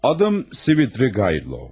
Adım Svridrigaylov.